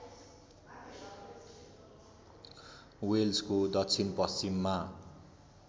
वेल्सको दक्षिण पश्चिममा